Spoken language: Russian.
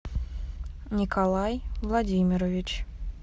николай владимирович